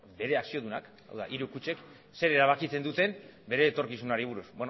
bere akziodunak hau da hiru kutxek zer erabakitzen duten bere etorkizunari buruz